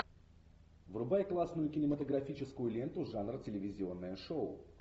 врубай классную кинематографическую ленту жанр телевизионное шоу